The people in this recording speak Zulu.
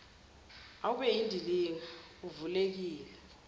awube yindilinga uvulekile